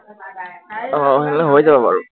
আহ তেনেহলে হৈ যাব বাৰু